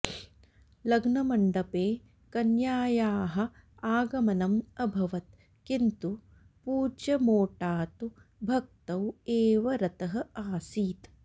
लग्नमण्डपे कन्यायाः आगमनम् अभवत् किन्तु पूज्य मोटा तु भक्तौ एव रतः आसीत्